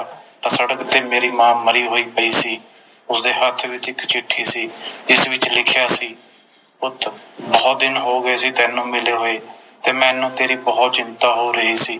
ਤਾ ਸੜਕ ਤੇ ਮੇਰੀ ਮਾਂ ਮਰੀ ਹੋਈ ਪਈ ਸੀ ਉਸਦੇ ਹੱਥ ਵਿਚ ਇਕ ਚਿੱਠੀ ਸੀ ਜਿਸ ਵਿਚ ਲਿਖਿਆ ਸੀ ਪੁੱਤ ਬੋਹੋਤ ਦਿਨ ਹੋਗੇ ਸੀ ਤੈਨੂੰ ਮਿਲੇ ਹੋਏ ਤੇ ਮੈਨੂੰ ਬੋਹੋਤ ਚਿੰਤਾ ਹੋ ਰਹੀ ਸੀ